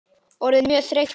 Orðin mjög þreytt á mér.